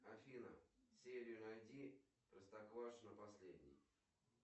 афина серию найди простоквашино последний